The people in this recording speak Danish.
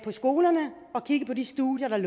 man